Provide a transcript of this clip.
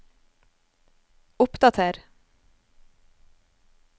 oppdater